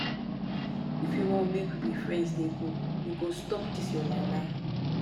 if you wan make we be friends dey go you go stop dis your lie-lie.